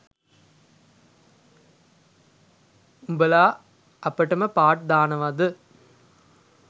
උඔලා අපටම පාට් දානවද?